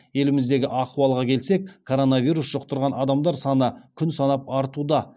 еліміздегі ахуалға келсек коронавирус жұқтырған адамдар саны күн санап артуда